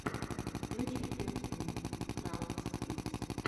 включи пять минут крафтс кидс